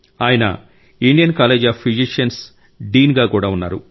ఆయన Indian college of physicians dean గా కూడా ఉన్నారు